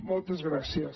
moltes gràcies